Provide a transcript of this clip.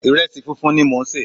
Ìrẹsì funfun ni mò ń sè.